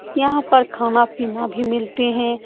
यहाँ पर खाना-पीना भी मिलते है।